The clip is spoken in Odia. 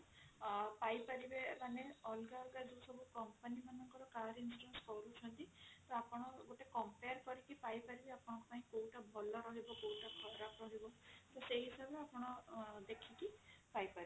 ପାଇପାରିବେ ମାନେ ଅଲଗା ଅଲଗା ଯୋଉ ସବୁ company ମାନଙ୍କର car insurance କରୁଛନ୍ତି ଟା ଆପଣ compare କରିକି ପାଇପାରିବେ ଆପଣଙ୍କ ପାଇଁ କୋଉଟା ଭଲ ରହିବ କୋଉଟା ଖରାପ ରହିବ ତ ସେହି ହିସାବରେ ଆପଣ ଦେଖିକି ପାଇପାରିବେ